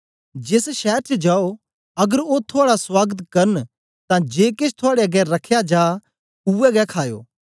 जेस शैर च जाओ अगर ओ थुआड़ा सुआगत करन तां जे केछ थुआड़े अगें रखया जा उवैगे खाओ